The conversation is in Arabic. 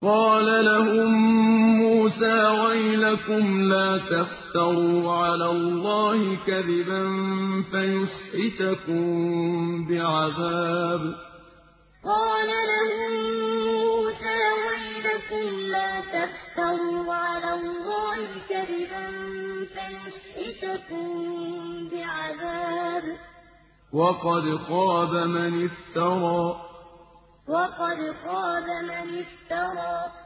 قَالَ لَهُم مُّوسَىٰ وَيْلَكُمْ لَا تَفْتَرُوا عَلَى اللَّهِ كَذِبًا فَيُسْحِتَكُم بِعَذَابٍ ۖ وَقَدْ خَابَ مَنِ افْتَرَىٰ قَالَ لَهُم مُّوسَىٰ وَيْلَكُمْ لَا تَفْتَرُوا عَلَى اللَّهِ كَذِبًا فَيُسْحِتَكُم بِعَذَابٍ ۖ وَقَدْ خَابَ مَنِ افْتَرَىٰ